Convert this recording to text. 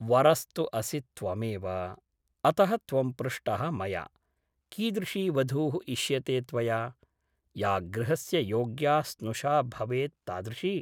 वरस्तु असि त्वमेव । अतः त्वं पृष्टः मया । कीदृशी वधूः इष्यते त्वया ? या गृहस्य योग्या स्नुषा भवेत् तादृशी ।